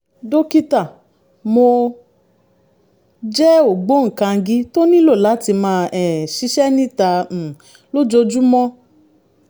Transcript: dókítà mo jẹ́ ògbóǹkangí tó nílò láti máa um ṣiṣẹ́ níta um lójoojúmọ́